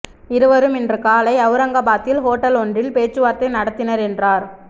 இருவரும் இன்று காலை அவுரங்கபாத்தில் ஹோட்டல் ஒன்றில் பேச்சுவார்த்தை நடத்தினர் என்றார்